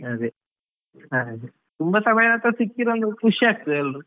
ಅದೇ, ಹಾಗೆ ತುಂಬಾ ಸಮಯದ ನಂತರ ಸಿಕ್ಕಿದೊಂದು ಖುಷಿ ಆಗ್ತದೆ ಎಲ್ರು.